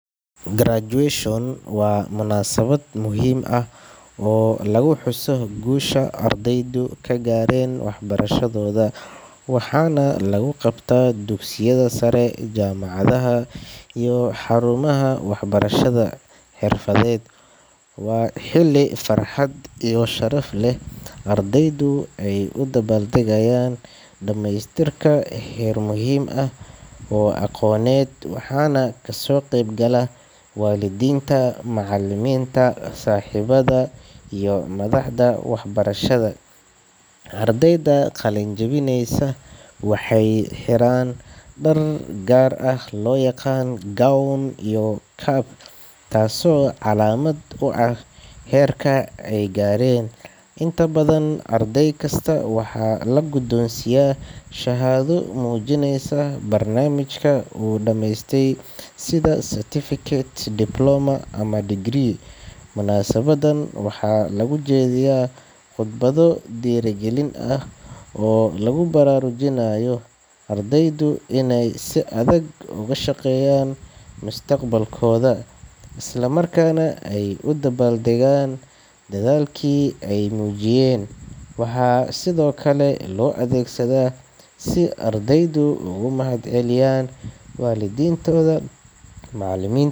Graduation waa munaasabad muhiim ah oo lagu xuso guusha ardaydu ka gaareen waxbarashadooda, waxaana lagu qabtaa dugsiyada sare, jaamacadaha iyo xarumaha waxbarashada xirfadeed. Waa xilli farxad iyo sharaf leh oo ardaydu ay u dabaaldegayaan dhamaystirka heer muhiim ah oo aqooneed, waxaana kasoo qayb gala waalidiinta, macallimiinta, saaxiibada iyo madaxda waxbarashada. Ardayda qalin-jabinaysa waxay xiraan dhar gaar ah oo loo yaqaan gown iyo cap, taasoo calaamad u ah heerka ay gaareen. Inta badan, arday kasta waxaa la guddoonsiiyaa shahaado muujinaysa barnaamijka uu dhamaystay, sida certificate, diploma ama degree. Munaasabaddan waxaa lagu jeediyaa khudbado dhiirrigelin ah oo lagu baraarujinayo ardayda inay si adag uga shaqeeyaan mustaqbalkooda, isla markaana ay u dabaal degaan dadaalkii ay muujiyeen. Waxaa sidoo kale loo adeegsadaa si ardaydu ugu mahadceliyaan waalidiintooda, macallimiin.